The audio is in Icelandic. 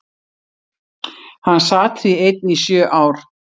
Hann sat því einn í sjö ár.